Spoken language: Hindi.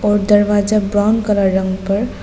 और दरवाजा ब्राउन कलर रंग पर--